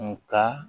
Nga